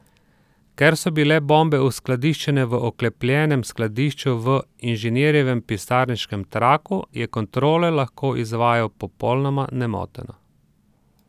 Ker so bile bombe uskladiščene v oklepljenem skladišču v inženirjevem pisarniškem traktu, je kontrole lahko izvajal popolnoma nemoteno.